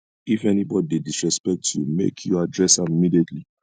if anybodi dey disrespect you make you address am immediately